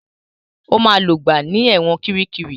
Ó máa lògbà ní ẹ̀wọ̀n Kiríkirì.